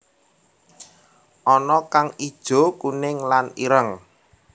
Ana kang ijo kuning lan ireng